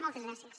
moltes gràcies